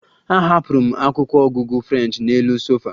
Ahapụrụ m akwụkwọ ọgụgụ French n'elu sofa